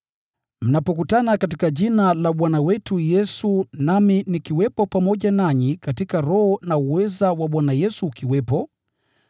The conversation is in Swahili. Mnapokutana katika Jina la Bwana wetu Yesu nami nikiwepo pamoja nanyi katika roho na uweza wa Bwana Yesu ukiwepo,